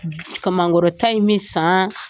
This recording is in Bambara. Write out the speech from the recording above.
Kamangɔrɔta in bɛ san